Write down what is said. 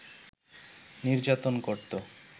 নির্যাতন করত